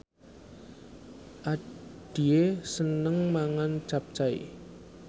Addie seneng mangan capcay